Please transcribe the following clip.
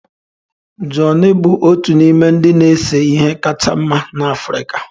Johnny bụ otu n'ime ndị na-ese ihe kacha mma n'Africa